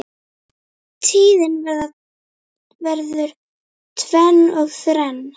Tíðin verður tvenn og þrenn.